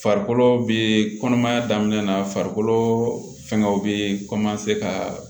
Farikolo bee kɔnɔmaya daminɛ na farikolo fɛngɛw be ka